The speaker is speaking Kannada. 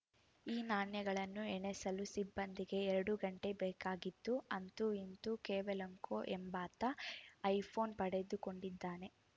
ಈ ನಾಣ್ಯಗಳನ್ನು ಎಣೆಸಲು ಸಿಬ್ಬಂದಿಗೆ ಎರಡು ಗಂಟೆ ಬೇಕಾಗಿದ್ದು ಅಂತೂ ಇಂತೂ ಕೋವೆಲೆಂಕೊ ಎಂಬಾತ ಐಫೋನ್‌ ಪಡೆದುಕೊಂಡಿದ್ದಾನೆ